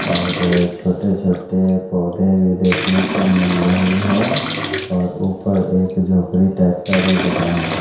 और छोटे छोटे पौधे भी देखने को मिल रही हैं और ऊपर एक झोपड़ी टाइप का भी बना हुआ--